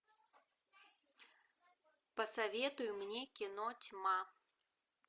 посоветуй мне кино тьма